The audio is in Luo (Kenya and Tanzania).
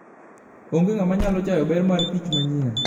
Onge ng'ama nyalo chayo ber markich manyien.